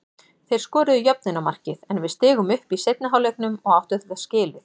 Þeir skoruðu jöfnunarmarkið en við stigum upp í seinni hálfleiknum og áttu þetta skilið.